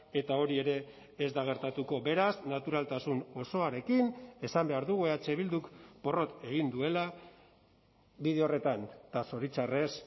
eta hori ere ez da gertatuko beraz naturaltasun osoarekin esan behar dugu eh bilduk porrot egin duela bide horretan eta zoritxarrez